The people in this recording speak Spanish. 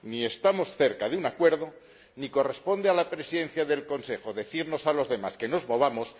Ni estamos cerca de un acuerdo, ni corresponde a la Presidencia del Consejo decirnos a los demás que nos movamos